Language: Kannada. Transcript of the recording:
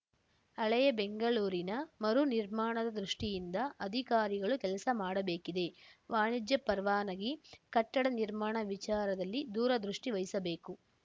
ಹಳೆಯ ಬೆಂಗಳೂರಿನ ಮರು ನಿರ್ಮಾಣದ ದೃಷ್ಟಿಯಿಂದ ಅಧಿಕಾರಿಗಳು ಕೆಲಸ ಮಾಡಬೇಕಿದೆ ವಾಣಿಜ್ಯ ಪರವಾನಗಿ ಕಟ್ಟಡ ನಿರ್ಮಾಣ ವಿಚಾರದಲ್ಲಿ ದೂರದೃಷ್ಟಿವಹಿಸಬೇಕು